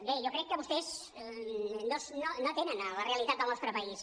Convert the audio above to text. bé jo crec que vostès no atenen a la realitat del nostre país